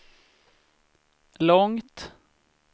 långt